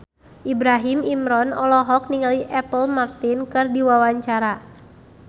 Ibrahim Imran olohok ningali Apple Martin keur diwawancara